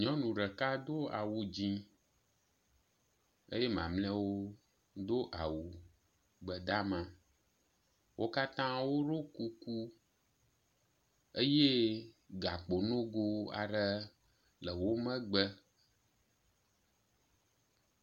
Nyɔnu ɖeka do awu dzɛ̃ eye mamlɛawo do awu gbe dama. Wo katã woɖo kuku eye gakpo nogo aɖe le wo megbe.